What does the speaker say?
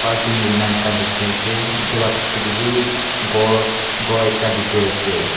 jisna ekta dekhi ase etu laga piche te bhi gour ekta dekhi ase.